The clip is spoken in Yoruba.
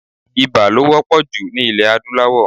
Ibà ló wọ́pọ̀ jù ní ilẹ̀ adúláwò.